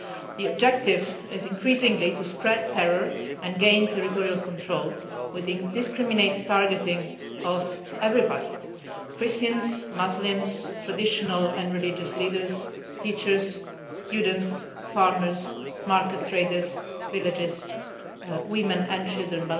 The objective is increasingly to spread terror and gain territorial control, with the indiscriminate targeting of everybody Christians, Muslims, traditional and religious leaders, teachers, students, farmers, market traders, villagers, women and children.